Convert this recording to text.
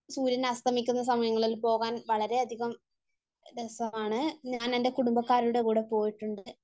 സൂര്യൻ അസ്തമിക്കുന്ന സമയങ്ങളിൽ പോകാൻ വളരെയധികം രസമാണ്. ഞാൻ എന്റെ കുടുംബക്കാരുടെ കൂടെ പോയിട്ടുണ്ട്.